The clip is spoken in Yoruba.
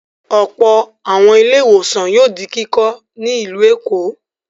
Ọ̀pọ̀ àwọn ilé-ìwòsàn yóò di kíkọ́ ní ìlú Èkó.